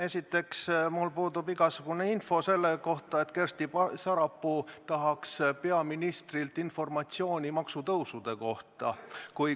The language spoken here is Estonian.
Esiteks, mul puudub igasugune info selle kohta, et Kersti Sarapuu tahaks saada peaministrilt informatsiooni maksutõusude kohta.